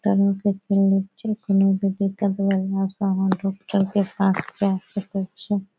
डॉक्टरों के क्लीनिक छै कनु भी दिक्कत होले से आहां डॉक्टर के पास जाय सकय छीये।